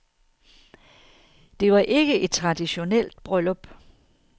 Det var ikke et traditionelt bryllup.